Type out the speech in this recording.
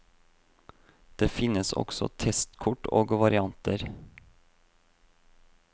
Det finnes også testkort og varianter.